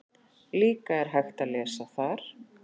Líka er hægt að lesa þar